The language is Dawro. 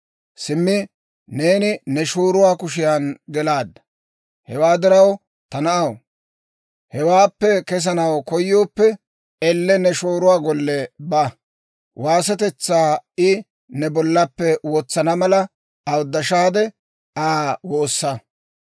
simmi neeni ne shooruwaa kushiyan gelaadda. Hewaa diraw, ta na'aw, hewaappe kesanaw koyooppe, elle ne shooruwaa golle ba; waasetetsaa I ne bollappe wotsana mala, awuddashaade Aa woossa.